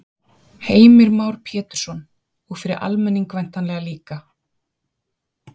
Heimir Már Pétursson: Og fyrir almenning væntanlega líka?